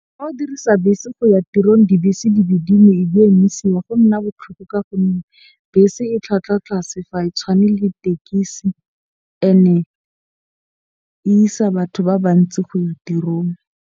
Ha o dirisa bese go ya tirong dibese go nna botlhoko. Ka gonne bese e tlhwatlhwa tlase fa e tshwane le tekesi ene e isa batho ba ba ntsi go ya tirong.